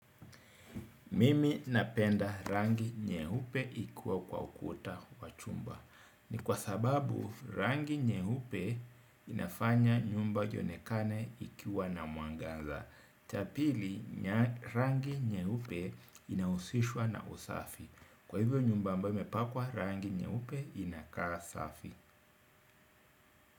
Mimi napenda rangi nyeupe ikiwa kwa ukuta wa chumba. Ni kwa sababu rangi nyeupe inafanya nyumba iyonekane ikiwa na mwangaza. Chapili rangi nyeupe inahusishwa na usafi. Kwa hivyo nyumba ambayo imepakwa, rangi nyeupe inakaa safi.